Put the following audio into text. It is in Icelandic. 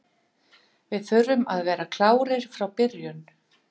Við þurfum að vera klárir frá byrjun.